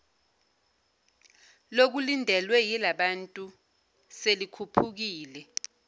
lokulindelwe yilabantu selikhuphukile